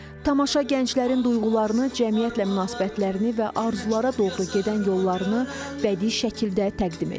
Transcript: Tamaşa gənclərin duyğularını, cəmiyyətlə münasibətlərini və arzulara doğru gedən yollarını bədii şəkildə təqdim edir.